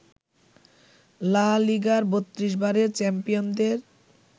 লা লিগার ৩২ বারের চ্যাম্পিয়নদের